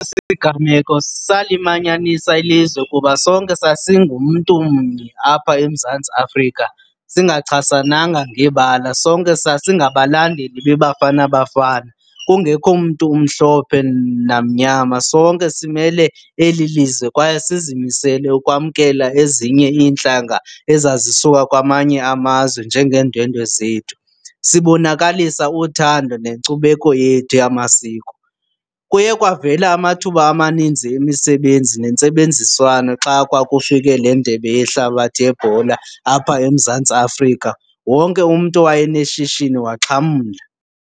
siganeko salimanyanisa ilizwe kuba sonke sasingumntu mnye apha eMzantsi Afrika singachasananga ngebala, sonke sasingabalandeli beBafana Bafana kungekho mntu umhlophe namnyama, sonke simele eli lizwe kwaye sizimisele ukwamkela ezinye iintlanga ezazisuka kwamanye amazwe njengeendwendwe zethu sibonakalisa uthando nenkcubeko yethu yamasiko. Kuye kwavela amathuba amaninzi emisebenzi nentsebenziswano xa kwakufike le Ndebe yeHlabathi yeBhola apha eMzantsi Afrika. Wonke umntu owayeneshishini waxhamla.